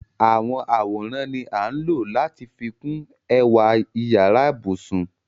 Àwọn àworan ni a ńlọ̀ lati fikun ẹ̀wà yara-íbusun.